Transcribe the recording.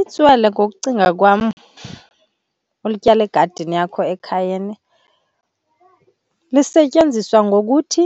Itswele ngokucinga kwam ulityala egadini yakho ekhayeni, lisetyenziswa ngokuthi